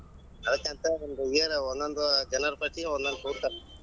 ಆಕಿ ಅಂತಾಳ ಒಂದೊಂದ್ year ಒಂದೊಂದ್ ಜೈನರ ಬಸದಿ ಒಂದೊಂದ್ ಕೂಡತಾರ.